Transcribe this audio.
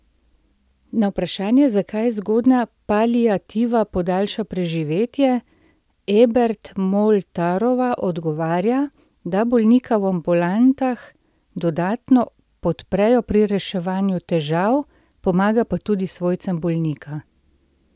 Na vprašanje, zakaj zgodnja paliativa podaljša preživetje, Ebert Moltarova odgovarja, da bolnika v ambulantah dodatno podprejo pri reševanju težav, pomaga pa tudi svojcem bolnika.